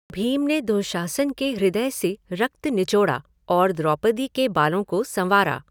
भीम ने दुःशासन के हृदय से रक्त निचोड़ा और द्रौपदी के बालों को संवारा।